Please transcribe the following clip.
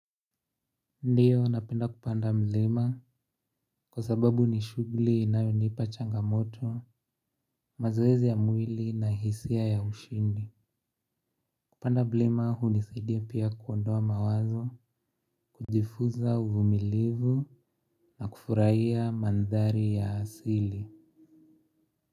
Ndio napenda kupanda mlima kwa sababu nishughuli inayonipa changamoto, mazoezi ya mwili na hisia ya ushindi. Kupanda mlima hunisaidia pia kuondoa mawazo, kujifunza uvumilivu na kufurahia mandhari ya asili.